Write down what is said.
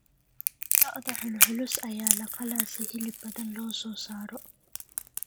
Lo’da culculus ayaa la qalaa si hilib badan loo soo saaro.